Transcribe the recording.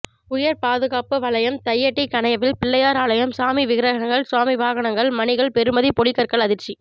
உயர்பாதுகாப்பு வலயம் தையிட்டி கணையவில் பிள்ளையார் ஆலயம் சாமி விக்கிரகங்கள் சுவாமி வாகனங்கள் மணிகள் பெறுமதி பொழிகற்கள் அதிர்ச்சி